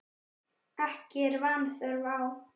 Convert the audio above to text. Ekki er vanþörf á.